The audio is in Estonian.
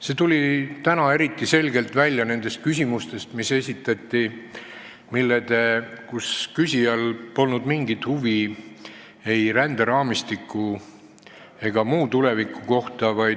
See tuli täna eriti selgelt välja nendest esitatud küsimustest, kus küsijal polnud mingit huvi ei ränderaamistiku ega tuleviku kohta.